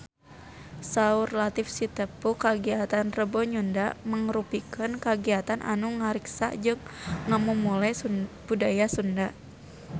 Saur Latief Sitepu kagiatan Rebo Nyunda mangrupikeun kagiatan anu ngariksa jeung ngamumule budaya Sunda